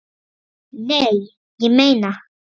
Nei, ég meina.